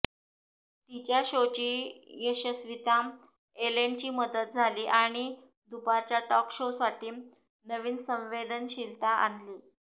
तिच्या शोची यशस्वीता एलेनची मदत झाली आणि दुपारच्या टॉक शोसाठी नवीन संवेदनशीलता आणली